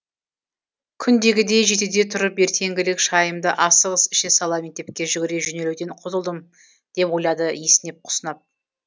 күндегідей жетіде тұрып ертеңгілік шайымды асығыс іше сала мектепке жүгіре жөнелуден құтылдым деп ойлады есінеп құсынап